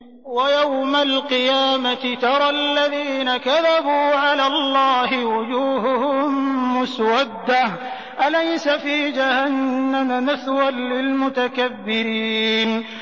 وَيَوْمَ الْقِيَامَةِ تَرَى الَّذِينَ كَذَبُوا عَلَى اللَّهِ وُجُوهُهُم مُّسْوَدَّةٌ ۚ أَلَيْسَ فِي جَهَنَّمَ مَثْوًى لِّلْمُتَكَبِّرِينَ